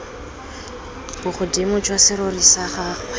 bogodimo jwa serori sa gagwe